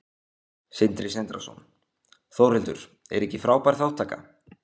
Sindri Sindrason: Þórhildur, er ekki frábær þátttaka?